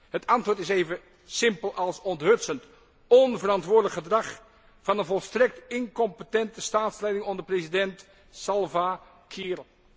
Het antwoord is even simpel als onthutsend onverantwoordelijk gedrag van de volstrekt incompetente staatsleiding onder president Salva Kiir.